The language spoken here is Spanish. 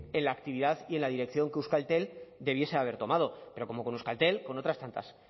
en la actividad y en la dirección que euskaltel debiese haber tomado pero como con euskaltel con otras tantas